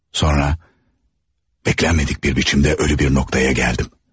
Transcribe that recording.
Sonra beklenmədik bir biçimdə ölü bir noktaya gəldim.